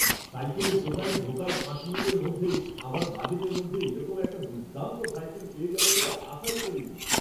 সাইকেলের দোকানে ঢোকার পাঁচ মিনিটের মধ্যেই আমার বাজেটের মধ্যে এরকম একটা দুর্দান্ত সাইকেল পেয়ে যাবো বলে আশাই করিনি!